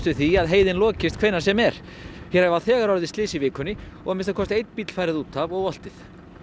við því að heiðin lokist hvenær sem er hér hafa þegar orðið slys í vikunni og að minnsta kosti einn bíll farið út af og oltið